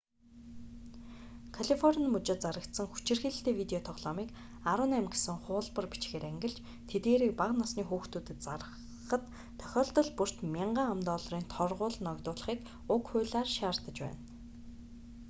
калифорни мужид зарагдсан хүчирхийлэлтэй видео тоглоомыг 18 гэсэн хуулбар бичгээр ангилж тэдгээрийг бага насны хүүхдэд зарахад тохиолдол бүрт 1,000 ам.долларын торгууль ногдуулахыг уг хуулиар шаардаж байна